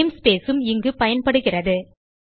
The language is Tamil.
நேம்ஸ்பேஸ் உம் இங்கு பயன்படுகிறது